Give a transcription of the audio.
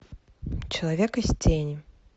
человек из тени